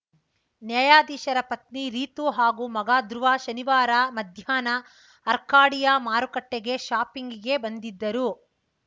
ನ್ಯಾಯಾಧೀಶರ ಪತ್ನಿ ರೀತು ಹಾಗೂ ಮಗ ಧ್ರುವ ಶನಿವಾರ ಮಧ್ಯಾಹ್ನ ಅರ್ಕಾಡಿಯಾ ಮಾರುಕಟ್ಟೆಗೆ ಶಾಪಿಂಗ್‌ಗೆ ಬಂದಿದ್ದರು